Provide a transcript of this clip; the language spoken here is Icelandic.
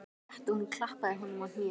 Rétt og hún klappaði honum á hnéð.